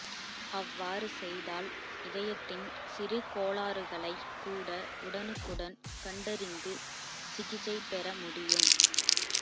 அவ்வாறு செய்தால் இதயத்தின் சிறுகோளாறுகளை கூட உடனுக்குடன் கண்டறிந்து சிகிச்சை பெற முடியும்